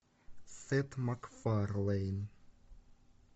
сет макфарлейн